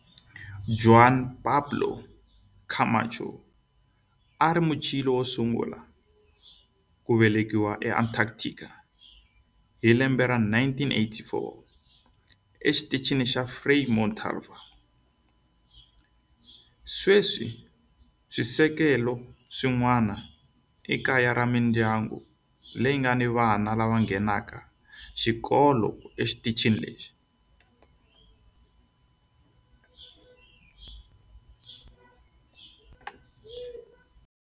Juan Pablo Camacho a a ri Muchile wo sungula ku velekiwa eAntarctica hi 1984 eXitichini xa Frei Montalva. Sweswi swisekelo swin'wana i kaya ra mindyangu leyi nga ni vana lava nghenaka xikolo exitichini lexi.